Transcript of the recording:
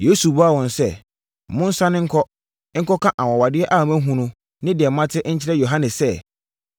Yesu buaa wɔn sɛ, “Monsane nkɔ, nkɔka anwanwadeɛ a moahunu ne deɛ moate nkyerɛ Yohane sɛ,